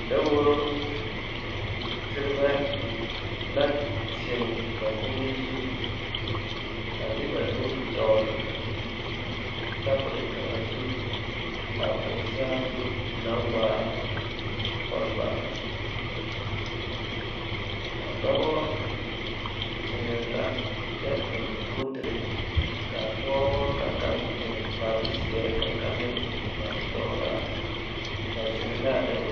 Daworo terebɛ la zeŋ dakogri zu a de ba nuuri dogle tabol kaŋa zu ka o saazu na waa kolbaa dɔbɔ zeŋɛɛ la kyɛ eŋ kootere ka a pɔgeba ka kaŋ eŋ kpare zeɛ ka kaŋ meŋ eŋ kpare sɔglaa ba zeŋ la a daworo.